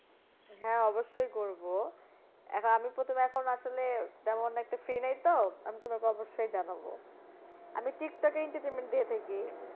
হ্যাঁ অবশ্যই করবো, এখন, আমি প্রথমে এখন আসলে তেমন একটা free নেই তো, আমি তোমাকে অবশ্যই জানাবো। আমি টিকটকে entertainment দিয়ে থাকি।